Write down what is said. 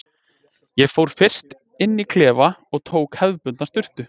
Ég fór fyrst inn í klefa og tók hefðbundna sturtu.